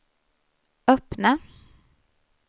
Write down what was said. öppna